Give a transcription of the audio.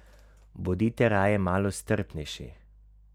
Bodite raje malo strpnejši!